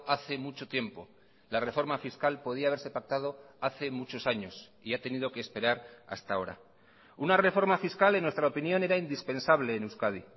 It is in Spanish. hace mucho tiempo la reforma fiscal podía haberse pactado hace muchos años y ha tenido que esperar hasta ahora una reforma fiscal en nuestra opinión era indispensable en euskadi